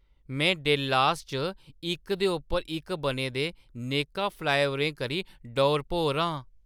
मैं डल्लेस च इक दे उप्पर इक बने दे नेकां फ्लाईओवरें करी डौर-भौर आं।